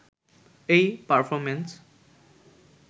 এই পারফরমেন্স